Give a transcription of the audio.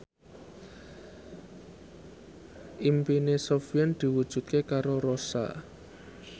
impine Sofyan diwujudke karo Rossa